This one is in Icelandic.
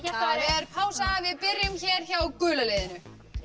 það er pása við byrjum hér hjá gula liðinu